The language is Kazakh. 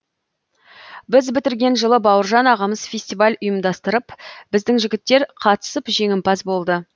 біз бітірген жылы бауыржан ағамыз фестиваль ұйымдастырып біздің жігіттер қатысып жеңімпаз болды